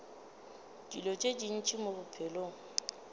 dilo tše ntši mo bophelong